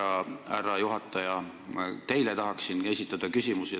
Just, härra juhataja, tahaksin esitada teile küsimuse.